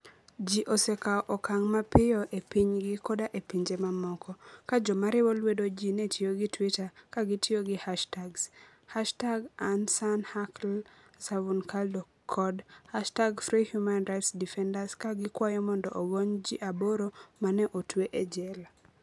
Ji osekawo okang ' mapiyo e pinygi koda e pinje mamoko, ka joma riwo lwedo ji ne tiyo gi Twitter ka gitiyo gi hashtags #İnsanHaklarıSavunucularınaDokunma kod #freehumanrightsdefenders ka gikwayo mondo ogony ji aboro ma ne otwe e jela.